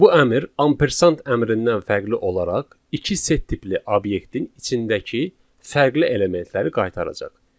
Bu əmr ampersand əmrindən fərqli olaraq iki set tipli obyektin içindəki fərqli elementləri qaytaracaq.